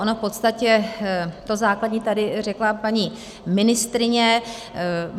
Ono v podstatě to základní tady řekla paní ministryně.